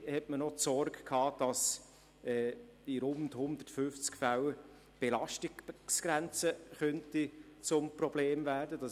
Dann hatte man auch die Sorge, dass in rund 150 Fällen die Belastungsgrenze zu einem Problem werden könnte.